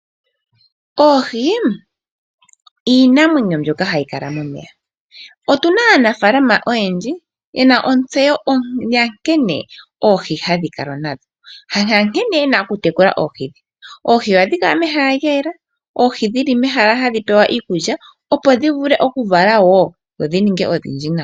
Oohi iinamwenyo mbyoka hayi kala momeya . Otuna Aanafaalama oyendji mboka yena ontseyo yankene oohi hadhi kalwa nadho nankene yena okudhi tekula. Oohi ohadhi kala mehala lyayela , dhili mehala hadhi pewa kiikulya, dhivule okuvala dhininge odhindji.